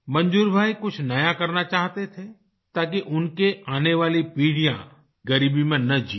मंजूर भाई कुछ नया करना चाहते थे ताकि उनकी आने वाली पीढ़ियाँ ग़रीबी में ना जिए